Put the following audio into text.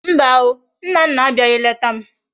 Mba o! Nnanna abiaghi leta m